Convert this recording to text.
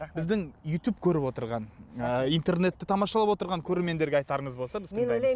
біздің ютуб көріп отырған ы интернетті тамашалап отырған көрермендерге айтарыңыз болса біз тыңдаймыз